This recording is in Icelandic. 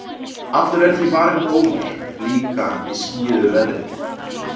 Allur er því varinn góður, líka í skýjuðu veðri.